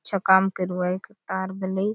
अच्छा काम करुआय तार बले।